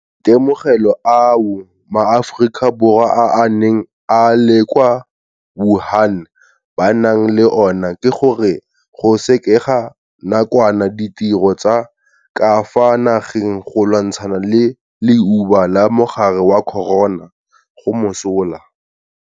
Maitemogelo ao maAforika Borwa a a neng a le kwa Wuhan ba nang le ona ke gore go sekega nakwana ditiro tsa ka fa nageng go lwantshana le leuba la mogare wa corona go mosola.